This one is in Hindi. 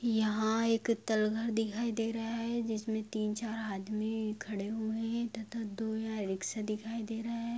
यहा एक तलघर दिखाई दे रहा है जिस में तीन चार आदमी खड़े हुए हैं तथा दो यहां रिक्सा दिखाई दे रहे हैं।